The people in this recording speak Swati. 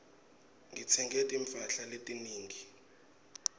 ngitsenge timphahla letinengi